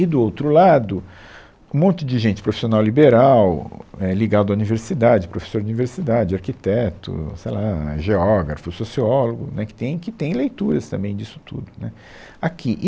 E, do outro lado, um monte de gente, profissional liberal, é, ligado à universidade, professor de universidade, arquiteto, sei lá, geógrafo, sociólogo, né, que tem, que tem leituras também disso tudo, né, aqui